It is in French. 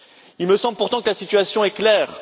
Il me semble pourtant que la situation est claire.